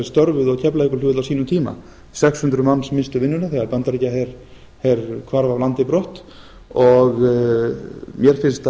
störfuðu á keflavíkurflugvelli á sínum tíma sex hundruð manns misstu vinnuna þegar bandaríkjaher hvarf af landi brott og mér finnst að